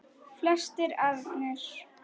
Flestir ernir